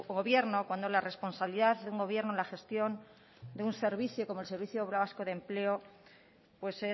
gobierno cuando la responsabilidad de un gobierno en la gestión de un servicio como el servicio vasco de empleo pues